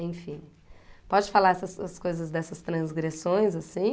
Enfim, pode falar essas as coisas dessas transgressões assim?